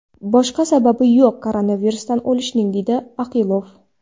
Boshqa sababi yo‘q koronavirusdan o‘lishning”, deydi Oqilov.